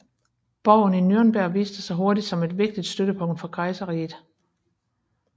Borgen i Nürnberg viste sig hurtigt som et vigtigt støttepunkt for kejserriget